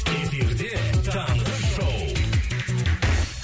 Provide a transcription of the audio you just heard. эфирде таңғы шоу